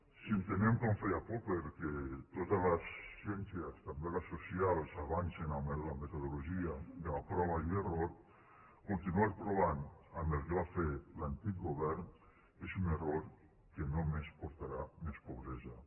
si entenem com feia popper que totes les ciències també les socials avancen amb la metodologia de la prova i l’error continuar provant amb el que va fer l’antic govern és un error que només portarà més pobresa